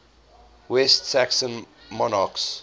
west saxon monarchs